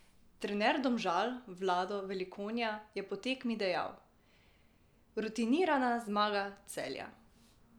Trener Domžal Vlado Velikonja je po tekmi dejal: "Rutinirana zmaga Celja.